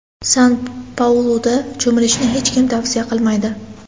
San-Pauluda cho‘milishni hech kim tavsiya qilmaydi.